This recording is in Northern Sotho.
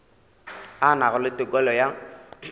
a nago le tokelo ya